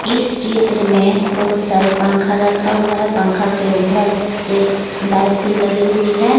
इस चित्र में बहुत सारे पंखा रखा हुआ है पंखा के उधर एक बाइक भी लगी हुई है।